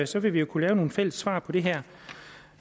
så vil vi jo kunne lave nogle fælles svar på det her